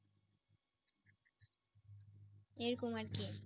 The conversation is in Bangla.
এরকম আর কি।